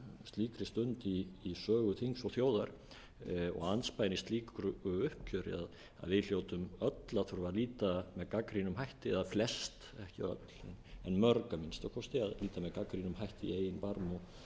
slíkri stund í sögu þings og þjóðar og andspænis slíku uppgjöri að við hljótum öll að þurfa að líta með gagnrýnum hætti eða flest ekki öll mörg að minnsta kosti að líta með gagnrýnum hætti í eigin barm